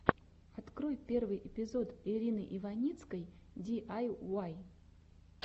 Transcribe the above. открой первый эпизод ирины иваницкой ди ай уай